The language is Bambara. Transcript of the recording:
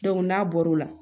n'a bɔr'o la